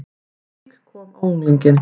Hik kom á unglinginn.